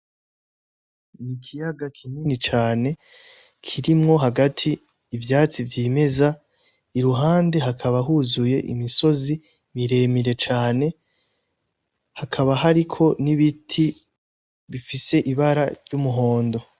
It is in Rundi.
Ni ikiyaga kinini cane kirimwo hagati ivyatsi vyimeza iruhande hakaba huzuye imisozi miremire cane hakaba hariko n'ibiti bifise ibara ry'umuhondo.